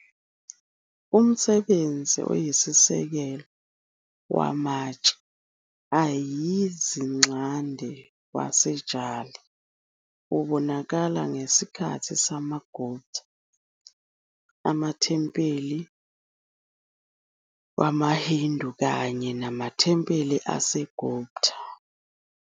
Umsebenzi oyisisekelo wamatshe ayizinxande waseJali ubonakala ngesikhathi samaGupta amathempeli amaNachna wamaHindu kanye namathempeli aseGupta Pattadakal.